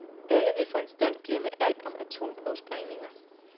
Alle vil for en stund glemme alt om atomprøvesprængninger.